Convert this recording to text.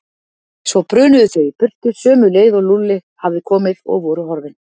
Svo brunuðu þau í burtu sömu leið og Lúlli hafði komið og voru horfin.